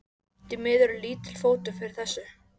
Því miður er lítill fótur fyrir þessu.